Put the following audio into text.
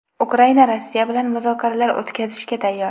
Ukraina Rossiya bilan muzokaralar o‘tkazishga tayyor.